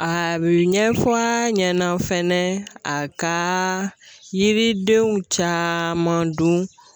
A be ɲɛfɔ a ɲɛnɛ fɛnɛ a ka yiridenw caaman dun